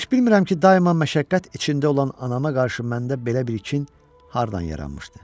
Heç bilmirəm ki, daima məşəqqət içində olan anama qarşı məndə belə bir kin hardan yaranmışdı.